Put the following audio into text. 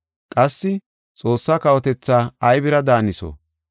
Qassi, “Xoossaa kawotetha aybira daaniso?